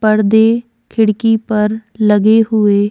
पर्दे खिड़की पर लगे हुए --